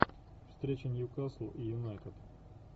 встреча ньюкасл и юнайтед